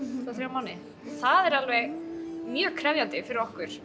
tvo þrjá mánuði það er alveg mjög krefjandi fyrir okkur